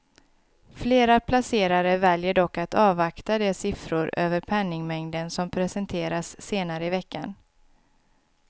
Flera placerare väljer dock att avvakta de siffror över penningmängden som presenteras senare i veckan.